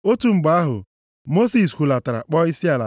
Otu mgbe ahụ, Mosis hulatara kpọọ isiala,